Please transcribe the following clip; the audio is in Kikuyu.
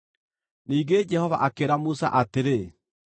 Ningĩ Jehova akĩĩra Musa atĩrĩ,